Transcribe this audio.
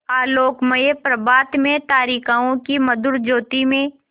आलोकमय प्रभात में तारिकाओं की मधुर ज्योति में